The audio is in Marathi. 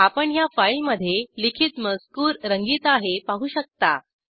आपण ह्या फाईलमध्ये लिखित मजकूर रंगीत आहे पाहू शकता